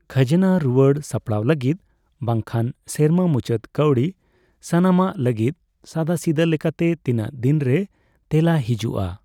ᱠᱷᱟᱡᱱᱟ ᱨᱩᱭᱟᱹᱲ ᱥᱟᱯᱲᱟᱣ ᱞᱟᱹᱜᱤᱫ ᱵᱟᱝᱠᱷᱟᱱ ᱥᱮᱨᱢᱟ ᱢᱩᱪᱟᱹᱫ ᱠᱟᱹᱣᱰᱤ ᱥᱟᱱᱟᱢᱟᱜ ᱞᱟᱹᱜᱤᱫ ᱥᱟᱫᱟᱥᱤᱫᱟᱹ ᱞᱮᱠᱟᱛᱮ ᱛᱤᱱᱟᱹᱜᱫᱤᱱ ᱨᱮ ᱛᱮᱞᱟ ᱦᱮᱡᱩᱜᱼᱟ ?